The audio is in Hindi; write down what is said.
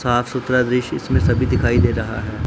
साफ सुथरा दृश्य इसमें सभी दिखाई दे रहा है।